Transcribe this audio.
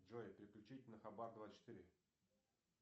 джой переключить на хабар двадцать четыре